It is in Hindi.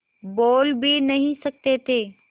बोल भी नहीं सकते थे